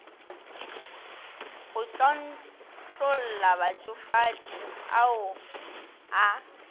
go tlontlolla batšofadi ao a